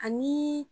Ani